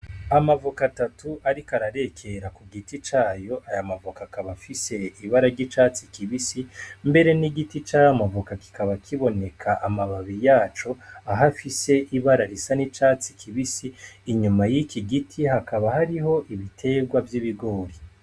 Amavoka atatu ariko ararekera kugiti cayo, mbere n'igiti cayo kikaba kiboneka amababi yaco ahafis'ibara risa n'icatsi kibisi, inyuma y'iki giti hakaba hariho ibiterwa vy'ibigori.